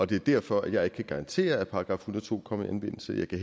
det er derfor at jeg ikke kan garantere at § en hundrede og to kommer i anvendelse jeg kan